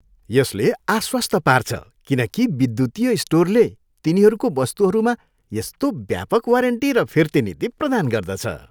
यसले आश्वस्त पार्छ किन कि विद्युतीय स्टोरले तिनीहरूको वस्तुहरूमा यस्तो व्यापक वारेन्टी र फिर्ती नीति प्रदान गर्दछ।